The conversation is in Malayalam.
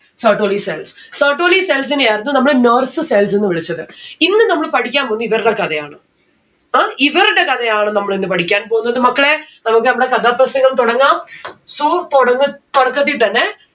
Sertoli cells. Sertoli cells നെയായിരുന്നു നമ്മള് nurse cells എന്ന് വിളിച്ചത്. ഇന്ന് നമ്മള് പഠിക്കാൻ പോകുന്നത് ഇവരുടെ കഥയാണ്. ഏർ ഇവരുടെ കഥയാണ് നമ്മളിന്ന് പഠിക്കാൻ പോകുന്നത് മക്കളെ. നമ്മുക്ക് നമ്മളെ കഥാപ്രസംഗം തുടങ്ങാം. so തുടങ്ങ് തുടക്കത്തി തന്നെ